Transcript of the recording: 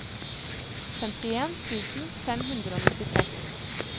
femtien tusen fem hundre og nittiseks